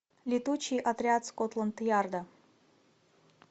летучий отряд скотланд ярда